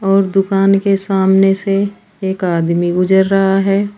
और दुकान के सामने से एक आदमी गुजर रहा है।